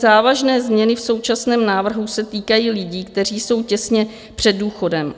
Závažné změny v současném návrhu se týkají lidí, kteří jsou těsně před důchodem.